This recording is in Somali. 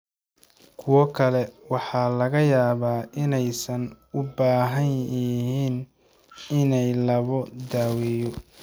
Kuwo kale waxaa laga yaabaa inaysan u baahnayn in la daweeyo.